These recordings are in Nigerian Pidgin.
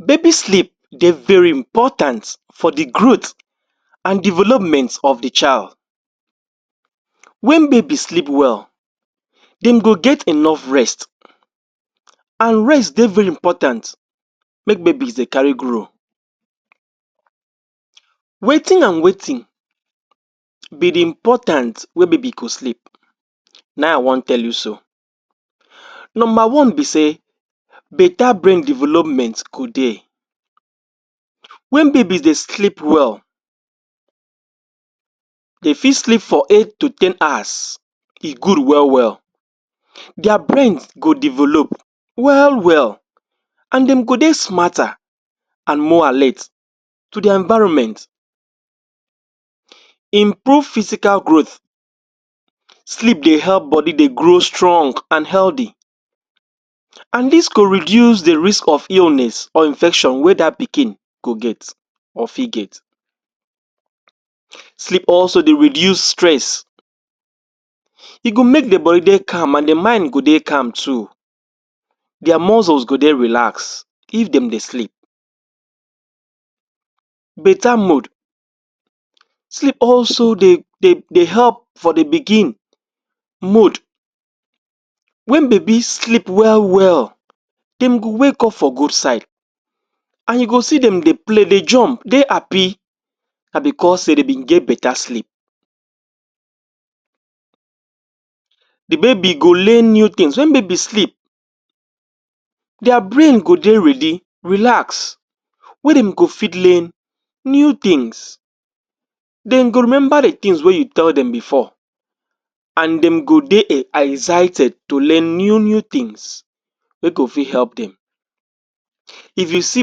Baby sleep dey very important for dey growth and development of dey child. When baby sleep well dem go get enough rest and rest dey very important make babies dey carry grow wetin and wetin be the important wey baby go sleep na im i wan tell you so. Number one be sey better brain development go dey when baby dey sleep well, dey fit sleep for eight to ten hours. e good well well dia brains go develop well well and dem do dey smarter and more alert to the enviroment. Improve physical growth, sleep dey help body dey grow strong and healthy and dis could reduce the risk of illness or infection wey that pikin go get or fit get. Sleep also dey reduce stress e go make the body dey calm and the mind go dey calm too, their muscles go dey relax if dem dey sleep. Better mood; sleep dey also help for the pikin mood when baby sleep well well dem go wake up for good side and you go see dem dey play dey jump dey happy na because sey dey bin get better sleep dey baby go learn new things, when baby sleep dia brain go dey ready, relax wey dem go fit learn new things, dem go remember dey things wey you tell dem before and dem go dey excited to learn new new things wey go fit help dem, if you see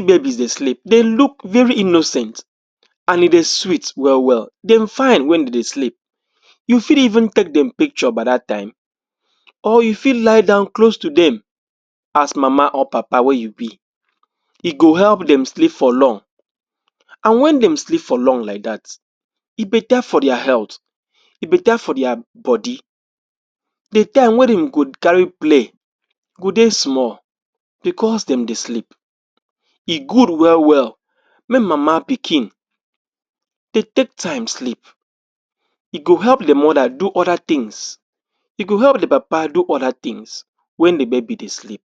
babies dey sleep, they look very innocent and e dey sweet well well, dem fine when dem dey sleep. You fit take dem picture by dat time or you fit lie down close to dem as mama or papa wey you be, e go help dem sleep for long and when dem sleep for long like dat, e better for dia health, e better for dia body. dey time wey dem go carry play go dey small because dem dey sleep, e good well well make mama pikin take take time sleep e go help dey mother do other things, e go help dey papa do other things when dey baby dey sleep.